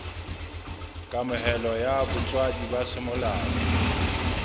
kamohelo ya botswadi ba semolao